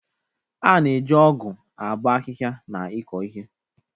A na-eji ọgu abo ahịhịa na ịkọ ihe.